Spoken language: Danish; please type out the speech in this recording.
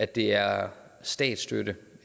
det er statsstøtte